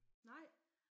Nej